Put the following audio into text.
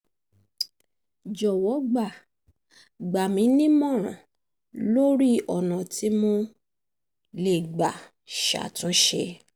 jọ̀wọ́ gbà gbà mí nímọ̀ràn lórí ọ̀nà tí mo lè gbà ṣàtúnṣe